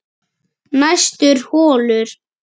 Næstur holur